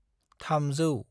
300